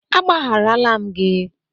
Agbagharala m gị